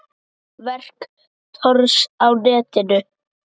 Verk Thors á netinu